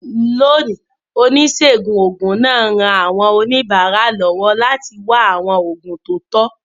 Lónìí, oníṣègùn òògùn náà ń ran àwọn oníbàárà lọ́wọ́ láti wá àwọn oògùn tó tọ́.